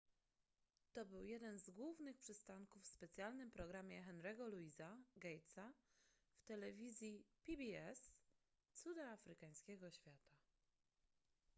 to był jeden z głównych przystanków w specjalnym programie henry'ego louisa gatesa w telewizji pbs cuda afrykańskiego świata